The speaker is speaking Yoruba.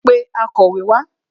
Pé akọ̀wé wá